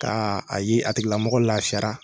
Kaa a ye a tigilamɔgɔ lafiyara